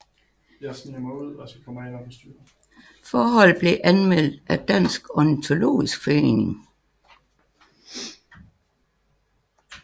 Forholdet blev anmeldt af Dansk Ornitologisk Forening